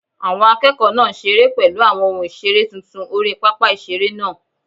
Àwọn akẹ́kọ̀ọ́ náà ń seré pẹ̀lú àwọn ohun ìseré tuntun orí pápá ìseré náà